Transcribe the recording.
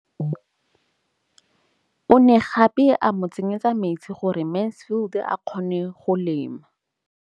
O ne gape a mo tsenyetsa metsi gore Mansfield a kgone go lema.